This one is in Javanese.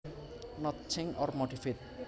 Not changed or modified